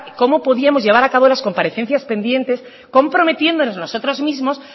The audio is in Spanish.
cómo podíamos llevar a cabo las comparecencias pendientes comprometiéndonos nosotros mismos